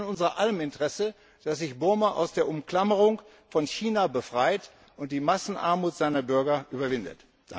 Es ist in unser aller Interesse, dass sich Burma aus der Umklammerung von China befreit und die Massenarmut seiner Bürger überwindet.